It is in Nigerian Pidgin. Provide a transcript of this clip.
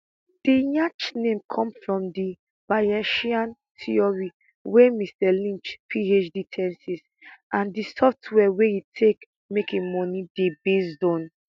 di yacht name come from di bayesian theory wey mr lynch phd thesis and di software wia e take make im money dey based on